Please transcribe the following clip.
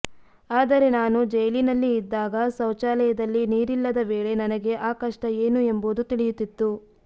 ಆದರೆ ನಾನು ಜೈಲಿನಲ್ಲಿ ಇದ್ದಾಗ ಶೌಚಾಲಯದಲ್ಲಿ ನೀರಿಲ್ಲದ ವೇಳೆ ನನಗೆ ಆ ಕಷ್ಟ ಏನು ಎಂಬುದು ತಿಳಿಯುತ್ತಿತ್ತು